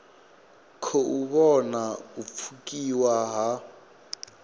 khou vhona u pfukiwa ha